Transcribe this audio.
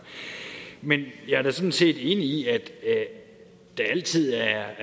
men jeg er da sådan set enig i at der altid er